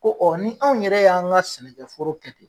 Ko ɔ ni anw yɛrɛ y'an ka sɛnɛkɛ foro kɛ ten.